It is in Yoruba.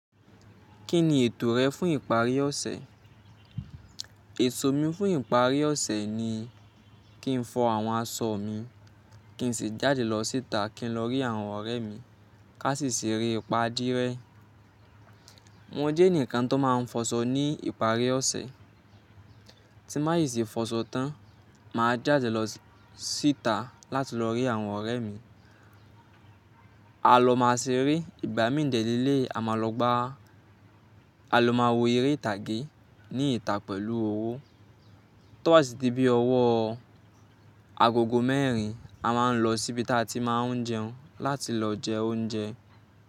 Kí ni ètò rẹ fún ìparí ọ̀sẹ̀? Ètò mi fún ìparí ọ̀sẹ̀ ni kí n fọ àwọn aṣọ mi, kí n sì jáde lọ síta, kí n lọ rí àwọn ọ̀rẹ́ mi ká sì ṣèrè ìpà díe. Wọn jẹ́ ẹnìkan tó máa ń fọṣọ ní ìparí ọ̀sẹ̀. Tí bá ì ṣe fọṣọ tán, mà á jáde lọ síta láti lọ rí àwọn ọ̀rẹ́ mi. A lọ máa ṣeré, ìgbà mí ń dẹ́le lé àmà lọ gbá. A lọ máa wo eré ìtàgé ní ìta pẹ̀lú owó. Toba si di bi ọ́wọ́ agogo mẹ́rin, a máa ń lọ síbi tí a ti máa ń jẹun láti lọ jẹ oúnjẹ.